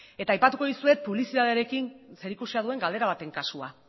eta aipatuko dizuet publizitatearekin zerikusia duen galdera baten kasua